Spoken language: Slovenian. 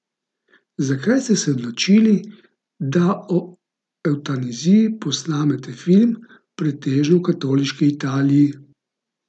Zakaj ste se odločili, da o evtanaziji posnamete film v pretežno katoliški Italiji?